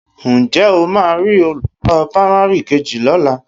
Ǹjẹ́ ó máa rí olùkọ́ pamari kejì lọ́la?